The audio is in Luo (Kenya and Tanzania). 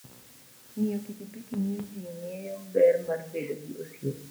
Ng'iyo pikipiki miyo ji ng'eyo ber mar bedo gi osiep.